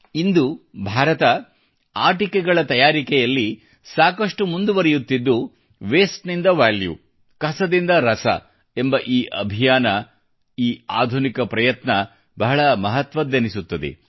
ಇಂದು ಭಾರತ ಆಟಿಕೆಗಳ ತಯಾರಿಕೆಯಲ್ಲಿ ಸಾಕಷ್ಟು ಮುಂದುವರಿಯುತ್ತಿದ್ದು ವೇಸ್ಟ್ ನಿಂದ ವ್ಯಾಲ್ಯೂ ಕಸದಿಂದ ರಸ ಎಂಬ ಈ ಅಭಿಯಾನ ಈ ಆಧುನಿಕ ಪ್ರಯತ್ನ ಬಹಳ ಮಹತ್ವದ್ದೆನಿಸುತ್ತದೆ